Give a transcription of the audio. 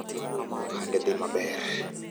ohande dhi maber